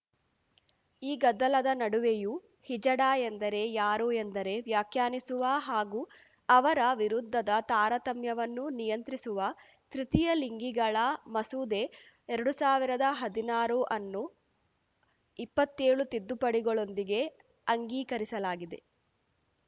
ಈ ಗದ್ದಲದ ನಡುವೆಯೂ ಹಿಜಡಾ ಎಂದರೆ ಯಾರು ಎಂದರೆ ವ್ಯಾಖ್ಯಾನಿಸುವ ಹಾಗೂ ಅವರ ವಿರುದ್ಧದ ತಾರತಮ್ಯವನ್ನು ನಿಯಂತ್ರಿಸುವ ತೃತೀಯ ಲಿಂಗಿಗಳ ಮಸೂದೆ ಎರಡು ಸಾವಿರದ ಹದಿನಾರು ಅನ್ನು ಇಪ್ಪತ್ತೇಳು ತಿದ್ದುಪಡಿಗಳೊಂದಿಗೆ ಅಂಗೀಕರಿಸಲಾಗಿದೆ